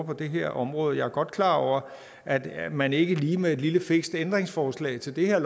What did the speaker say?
på det her område jeg er godt klar over at man ikke lige med et lille fikst ændringsforslag til det her